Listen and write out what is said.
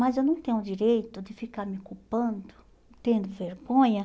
Mas eu não tenho o direito de ficar me culpando, tendo vergonha.